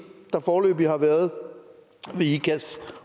der foreløbig har været ved